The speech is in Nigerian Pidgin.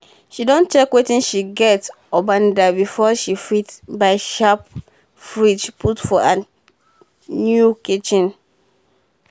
she don check wetin she get upandan before she fit buy sharp fridge put for her new kitchen